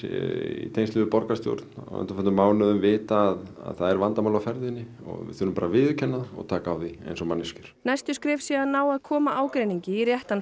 í tengslum við borgarstjórn á undanförnum mánuðum vita að það er vandamál á ferðinni og við þurfum bara að viðurkenna það og taka á því eins og manneskjur næstu skref séu að ná að koma ágreiningi í réttan